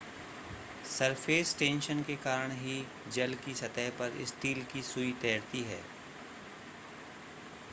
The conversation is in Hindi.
सरफ़ेस टेंशन के कारण ही जल की सतह पर स्टील की सूई तैरती है